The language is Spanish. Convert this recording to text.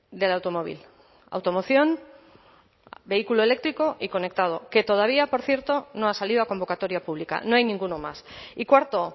del automóvil automoción vehículo eléctrico y conectado que todavía por cierto no ha salido a convocatoria pública no hay ninguno más y cuarto